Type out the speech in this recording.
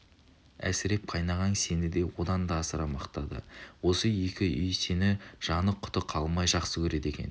әсіреп қайнағаң сені одан да асыра мақтады осы екі үй сені жаны-құты қалмай жақсы көреді екен